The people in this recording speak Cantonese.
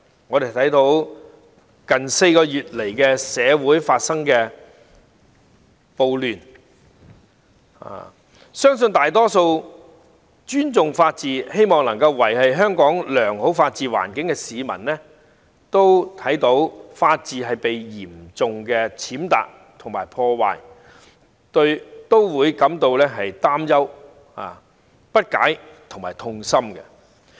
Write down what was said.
眼見最近4個多月來的社會暴亂，相信大多數尊重法治、希望維持良好的法治環境的香港市民，看到法治被嚴重踐踏和破壞都會感到擔憂、不解和痛心。